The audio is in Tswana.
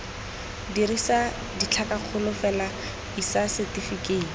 dirisa ditlhakakgolo fela isa setefikeiti